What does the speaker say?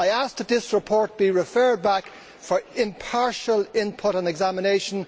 I ask that this report be referred back for impartial input and examination.